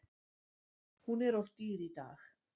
Hún er of dýr í dag.